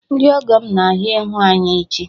Ndị ọgọ m na ahịa ịhụ anyị echi